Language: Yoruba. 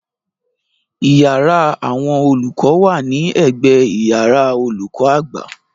Iyàrá àwọn olùkọ wa ni ẹ̀gbẹ iyàrá olùkọ àgbà.